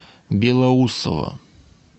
белоусово